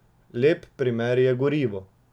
Lep primer je gorivo.